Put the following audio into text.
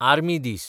army दीस